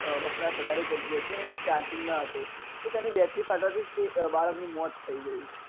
વપરાસ વધારે કરી રહ્યો હતો ને તે charging માં હતો તો તેની Battery ફાટવાથી જ તે બાળક નું મોત થઇ ગયું.